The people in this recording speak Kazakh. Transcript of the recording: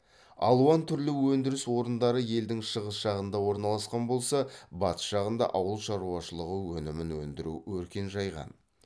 алуан түрлі өндіріс орындары елдің шығыс жағында орналасқан болса батыс жағында ауыл шаруашылығы өнімін өндіру өркен жайған